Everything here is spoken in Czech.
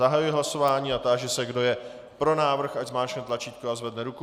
Zahajuji hlasování a táži se, kdo je pro návrh, ať zmáčkne tlačítko a zvedne ruku.